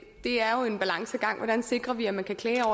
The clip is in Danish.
det er jo en balancegang hvordan sikrer vi at man kan klage